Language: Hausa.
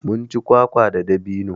Munci kwakwa da dabino